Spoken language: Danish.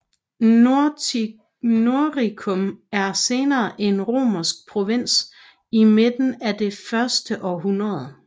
Noricum blev senere en romersk provins i midten af det første århundrede